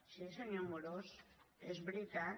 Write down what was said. sí senyor amorós és veritat